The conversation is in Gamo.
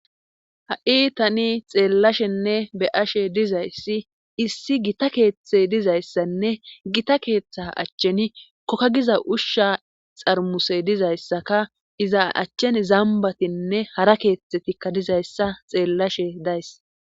ha7i tani xeellashenne be'ashe dizayssi issi gita keeththe dizayssanne gita keeththa achchen kokka giza ushsha xarmuse dizayssaka iza achchen zambatinne hara keeththetikka dizayssa xeellashe days